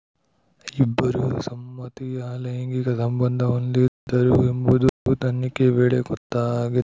ಇಬ್ಬರೂ ಸಮ್ಮತಿಯ ಲೈಂಗಿಕ ಸಂಬಂಧ ಹೊಂದಿದ್ದರು ಎಂಬುದು ತನಿಖೆ ವೇಳೆ ಗೊತ್ತಾಗಿ